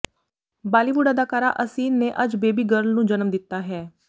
ਬਾਲੀਵੁੱਡ ਅਦਾਕਾਰਾ ਅਸਿਨ ਨੇ ਅੱਜ ਬੇਬੀ ਗਰਲ ਨੂੰ ਜਨਮ ਦਿੱਤਾ ਹੈ